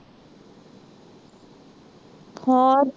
ਹੋਰ